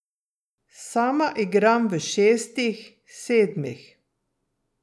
Sama igram v šestih, sedmih.